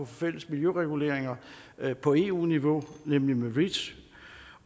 fælles miljøreguleringer på eu niveau nemlig med reach